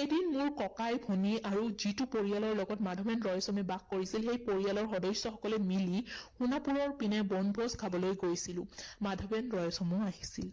এদিন মোৰ ককাই ভনী আৰু যিটো পৰিয়ালৰ লগত মাধৱেন ৰয়ছমে বাস কৰিছিল সেই পৰিয়ালৰ সদস্যসকলে মিলি সোনাপুৰৰ পিনে বনভোজ খাবলৈ গৈছিলো। মাধৱেন ৰয়ছমো আহিছিল।